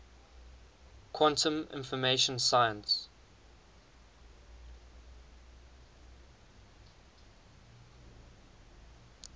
quantum information science